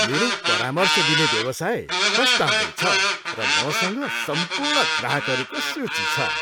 मेरो परामर्श दिने व्यवसाय फस्टाउँदै छ, र मसँग सम्पूर्ण ग्राहकहरूको सूची छ।